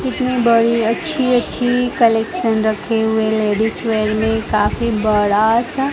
कितनी बड़ी अच्छी अच्छी कलेक्शन रखे हुए लेडिज वेयर में काफी बड़ा सा--